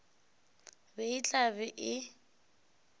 be e tla be e